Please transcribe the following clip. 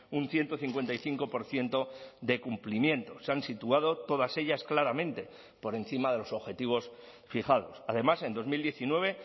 un ciento cincuenta y cinco por ciento de cumplimiento se han situado todas ellas claramente por encima de los objetivos fijados además en dos mil diecinueve